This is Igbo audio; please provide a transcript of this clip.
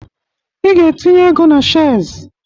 I ga-entinye ego na shez